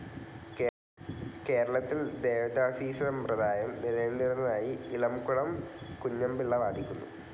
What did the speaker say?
കേരളത്തിൽ ദേവദാസീസമ്പ്രദായം നിലനിന്നിരുന്നതായി ഇളംകുളം കുഞ്ഞൻപിള്ള വാദിക്കുന്നു.